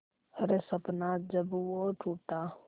हर सपना जब वो टूटा